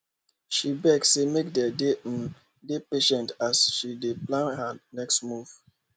she beg say make dem um dey patient as she dey plan her next move